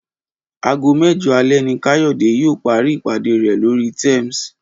Aago mẹ́jọ alẹ́ ni Káyọ̀dé yóò parí ìpàdé rẹ̀ lórí Teams